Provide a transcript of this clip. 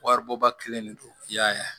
Waribɔba kelen de don i y'a ye